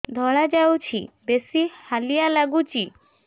ଧଳା ଯାଉଛି ବେଶି ହାଲିଆ ଲାଗୁଚି